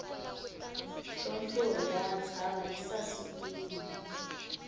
nhlonhlori ya ntshava yi sasekile